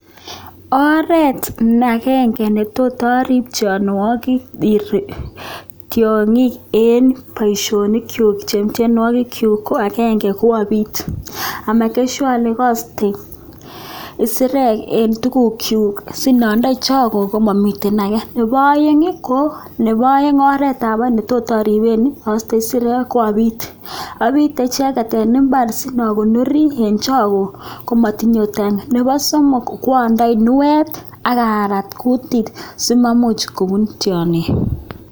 Oret ne agenge ne tot aripchi mionwokik tiongik eng boisionikyu che eng tiongikyu, ko agenge, ko api amekan sure ale kaiste isirek eng tugukchu sikandai choge komamiten age. Nebo aeng, oretab aeng netot aripe, aiste isirek ko apit, apite icheket eng imbaar sipokonori eng choge komatinye utane. Nebo somok, ko andee kunuet akarat kutit simamuch kobun tiongik.